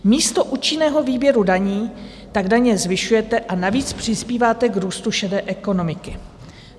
Místo účinného výběru daní tak daně zvyšujete a navíc přispíváte k růstu šedé ekonomiky.